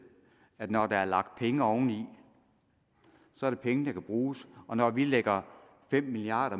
at det når der er lagt penge oveni så er det penge der kan bruges og når vi lægger fem milliard